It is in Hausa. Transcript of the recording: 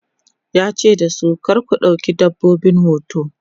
yace dasu "kar ku ɗauki dabbobin hoto!'